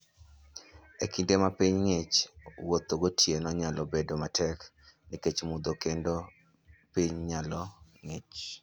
E kinde ma piny ng'ich, wuotho gotieno nyalo bedo matek nikech mudho kendo piny nyalo ng'ich.